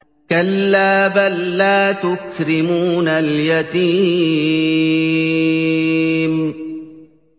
كَلَّا ۖ بَل لَّا تُكْرِمُونَ الْيَتِيمَ